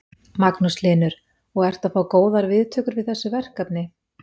Magnús Hlynur: Og ertu að fá góðar viðtökur við þessu verkefni?